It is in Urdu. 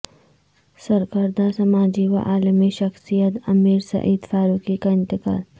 سرکردہ سماجی و علمی شخصیت امیر سعد فاروقی کا انتقال